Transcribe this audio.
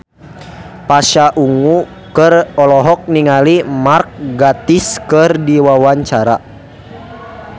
Pasha Ungu olohok ningali Mark Gatiss keur diwawancara